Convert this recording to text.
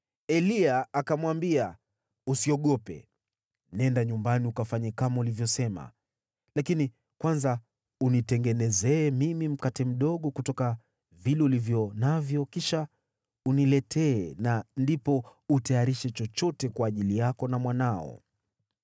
Eliya akamwambia, “Usiogope. Nenda nyumbani ukafanye kama ulivyosema. Lakini kwanza unitengenezee mimi mkate mdogo kutoka vile ulivyo navyo kisha uniletee na ndipo utayarishe chochote kwa ajili yako na mwanao.